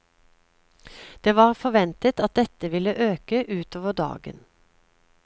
Det var forventet at dette ville øke utover dagen.